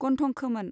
गन्थं खोमोन